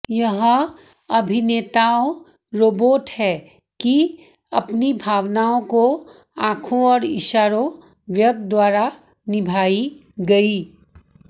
यह अभिनेताओं रोबोट है कि अपनी भावनाओं को आंखों और इशारों व्यक्त द्वारा निभाई गई